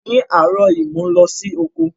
Ní áàrọ̀ yi, mo n lọ si oko